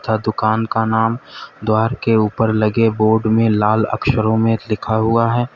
तथा दुकान का नाम द्वारा के ऊपर लगे बोर्ड में लाल अक्षरों में लिखा हुआ है।